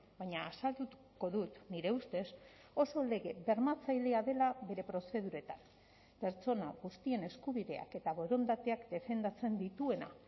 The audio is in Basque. baina azalduko dut nire ustez oso lege bermatzailea dela bere prozeduretan pertsona guztien eskubideak eta borondateak defendatzen dituena